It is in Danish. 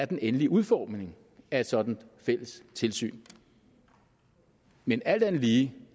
den endelige udformning af et sådant fælles tilsyn men alt andet lige